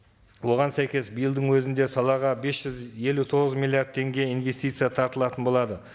оған сәйкес биылдың өзінде салаға бес жүз елу тоғыз миллиард теңге инвестиция тартылатын болады